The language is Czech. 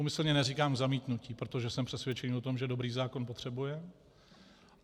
Úmyslně neříkám zamítnutí, protože jsem přesvědčený o tom, že dobrý zákon potřebujeme.